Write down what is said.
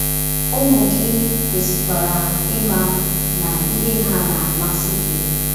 Ụmụ gị kwesịkwara ịma na ihe ha na-amasị gị.